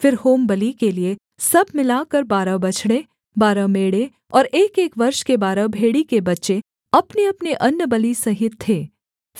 फिर होमबलि के लिये सब मिलाकर बारह बछड़े बारह मेढ़े और एकएक वर्ष के बारह भेड़ी के बच्चे अपनेअपने अन्नबलि सहित थे